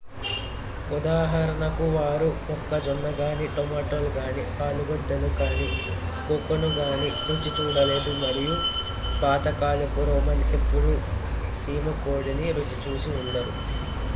ఉదాహరణకు వారు మొక్కజొన్న గానీ టొమాటోలు గానీ ఆలుగడ్డలు గానీ కోకోను గానీ రుచి చూడలేదు మరియు పాత కాలపు రోమన్ ఎప్పుడూ సీమకోడిని రుచి చూసి ఉండరు